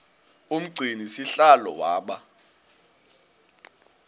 umgcini sihlalo waba